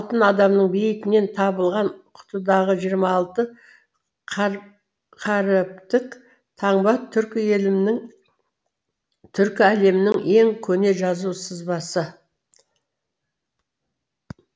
алтын адамның бейітінен табылған құтыдағы жиырма алты қаріптік таңба түркі елінің түркі әлемінің ең көне жазу сызбасы